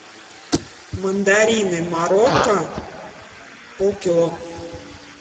мандарины марокко пол кило